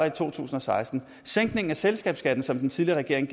i to tusind og seksten sænkningen af selskabsskatten som den tidligere regering